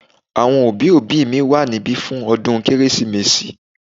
Àwọn òbí òbí mi wà níbí fún ọdún kérésìmesì